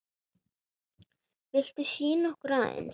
Viltu sýna okkur aðeins?